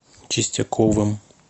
чистяковым